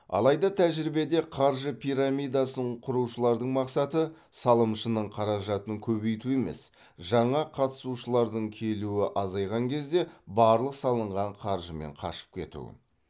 алайда тәжірибеде қаржы пирамидасын құрушылардың мақсаты салымшының қаражатын көбейту емес жаңа қатысушылардың келуі азайған кезде барлық салынған қаржымен қашып кету